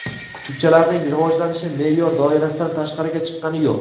Kuchukchalarning rivojlanishi me’yor doirasidan tashqariga chiqqani yo‘q.